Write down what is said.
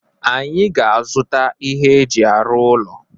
Anyị ga-azụta ihe eji arụ ụlọ.